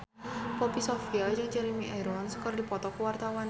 Poppy Sovia jeung Jeremy Irons keur dipoto ku wartawan